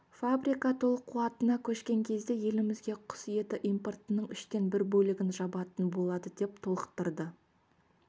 фабрика толық қуатына көшкен кезде елімізге құс еті импортының үштен бір бөлігін жабатын болады деп толықтырды